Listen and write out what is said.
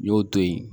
N y'o to yen